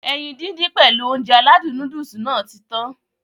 Ẹyin dídín pèlu Ounjẹ aládùn nóódùsì Nàá ti tan